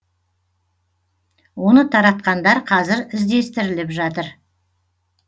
оны таратқандар қазір іздестіріліп жатыр